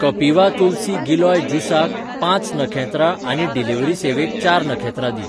कपिवा Tulsi Giloy juice क पांच नखेत्रां आनी डिलिव्हरी सेवेक चार नखेत्रां दी.